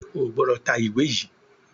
o gbódò tá ìwé yí!